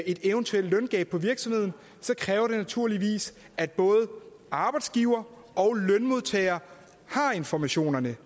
et eventuelt løngab på virksomheden kræver det naturligvis at både arbejdsgivere og lønmodtagere har informationerne